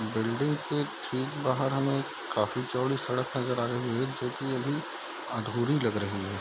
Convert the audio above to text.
Building के ठीक बाहर हमें एक काफी चौड़ी सड़क नजर आ रही है जो की अभी अधूरी लग रही है।